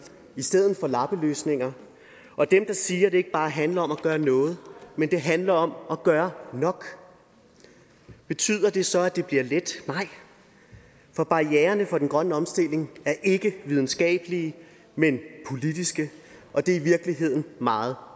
i stedet for lappeløsninger og dem der siger det ikke bare handler om at gøre noget men handler om at gøre nok betyder det så at det bliver let nej for barriererne for den grønne omstilling er ikke videnskabelige men politiske og det er i virkeligheden meget